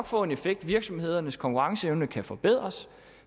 få en effekt virksomhedernes konkurrenceevne kan forbedres